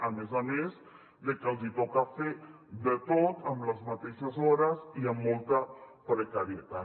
a més a més de que els hi toca fer de tot amb les mateixes hores i amb molta precarietat